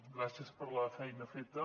gràcies per la feina feta